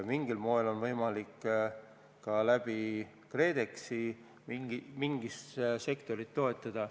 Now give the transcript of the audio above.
Mingil moel on võimalik ka läbi KredExi mõnda sektorit toetada.